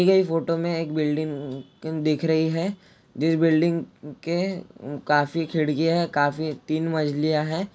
ये फोटो में एक बिल्डिंग दिख रही है जिस बिल्डिंग के काफी खिड़कियां है काफी तीन मंजलियाँ है।